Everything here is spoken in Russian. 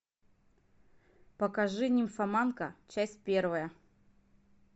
покажи нимфоманка часть первая